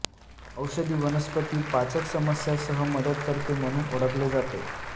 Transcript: औषधी वनस्पती पाचक समस्या सह मदत करते म्हणून ओळखले जाते